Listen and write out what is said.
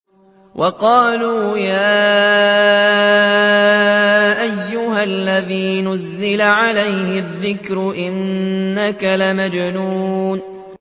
وَقَالُوا يَا أَيُّهَا الَّذِي نُزِّلَ عَلَيْهِ الذِّكْرُ إِنَّكَ لَمَجْنُونٌ